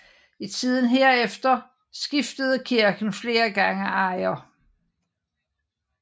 I tiden herefter skiftede kirken flere gange ejer